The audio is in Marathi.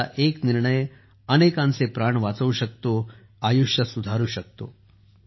तुमचा एक निर्णय अनेकांचे प्राण वाचवू शकतो आयुष्य सुधारु शकतो